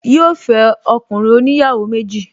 Yíò fẹ́ ọkùnrin oníyàwó méjì